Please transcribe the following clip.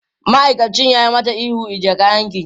Ma'aikacin ya yi mata ihu, ajiye kayanki!